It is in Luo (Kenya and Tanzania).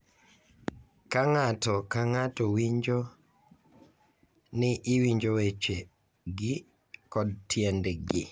Ka ng’ato ka ng’ato winjo ni iwinjo wechegi kod tiendgi,